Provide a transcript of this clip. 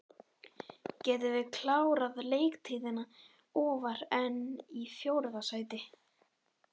Getum við klárað leiktíðina ofar en í fjórða sæti?